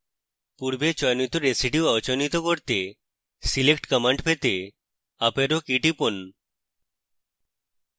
পূর্বে চয়নিত residue অচয়নিত করতে select command পেতে up arrow key টিপুন